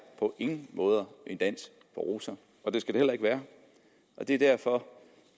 på ingen måde en dans på roser og det skal det heller ikke være og det er derfor